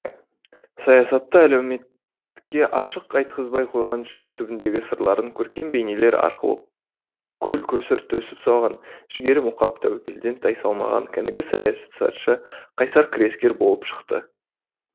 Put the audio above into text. саясатта әлеуметке ашық айтқызбай қойған жүрек түбіндегі сырларын көркем бейнелер арқылы көл көсір төгіп салған жігері мұқап тәуекелден тайсалмаған кәнігі саясатшы қайсар күрескер болып шықты